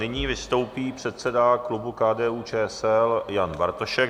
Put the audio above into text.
Nyní vystoupí předseda klubu KDU-ČSL Jan Bartošek.